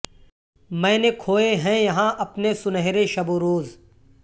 میں نے کھوئے ہیں یہاں اپنے سنہرے شب و روز